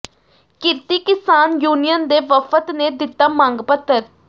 ਕਿਰਤੀ ਕਿਸਾਨ ਯੂਨੀਅਨ ਦੇ ਵਫ਼ਦ ਨੇ ਦਿੱਤਾ ਮੰਗ ਪੱਤਰ